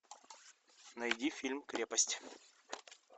найди фильм крепость